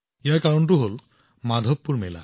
ইয়াৰ কাৰণ হৈছে মাধৱপুৰ মেলা